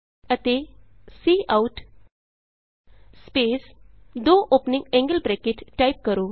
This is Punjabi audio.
ਅਤੇ ਕਾਉਟ ਸਪੈਸ ਦੋ ਔਪਨਿੰਗ ਐਂਗਲ ਬਰੈਕਟ ਟਾਈਪ ਕਰੋ